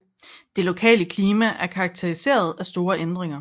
Det lokale klima er karateriseret af store ændringer